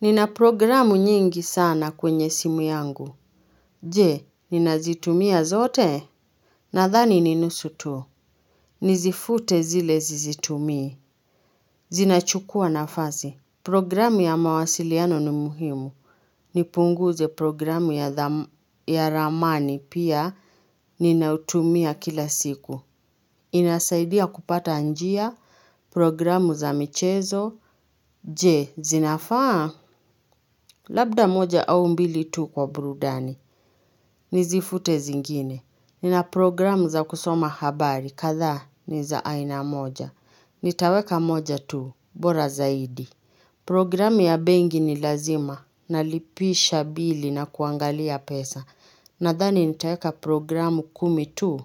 Nina programu nyingi sana kwenye simu yangu. Jee, nina zitumia zote? Nadhani ni nusu tu. Nizifute zile zizitumii. Zinachukua nafasi. Programu ya mawasiliano ni muhimu. Nipunguze programu ya ramani pia. Nina utumia kila siku. Inasaidia kupata njia. Programu za michezo. Jee, zinafaa? Labda moja au mbili tu kwa burudani. Nizifute zingine. Nina programu za kusoma habari kathaa ni za aina moja. Nitaweka moja tu bora zaidi. Programu ya bengi ni lazima. Nalipisha bili na kuangalia pesa. Nadhani nitaeka programu kumi tu